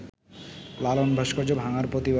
লালন ভাস্কর্য ভাঙার প্রতিবাদে